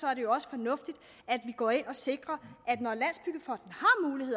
er det jo også fornuftigt at vi går ind og sikrer